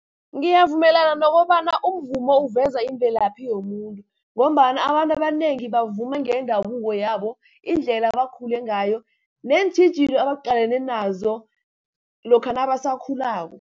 Ngiyavumelana nokobana umvumo uveza imvelaphi yomuntu, ngombana abantu abanengi bavuma ngendabuko yabo, indlela abakhule ngayo, neentjhijilo abaqalene nazo, lokha nabasakhulako.